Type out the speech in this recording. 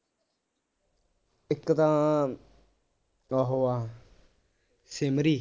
ਇੱਕ ਤਾਂ ਉਹ ਆ ਸ਼ਿਮਰੀ